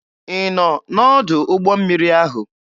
Ị nọ n'ọdụ ụgbọ mmiri ahụ?